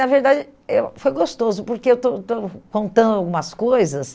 Na verdade, eu foi gostoso, porque estou estou contando algumas coisas